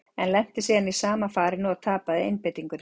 Ég lenti síðan í sama farinu, og tapaði einbeitingunni.